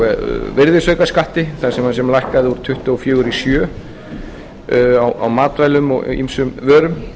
tengist breytingunum á virðisaukaskatti sem lækkaði úr tuttugu og fjögur prósent í sjö prósent á matvælum og ýmsum vörum